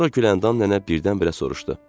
Sonra Güləndam nənə birdən-birə soruşdu: